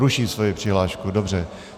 Ruší svoji přihlášku, dobře.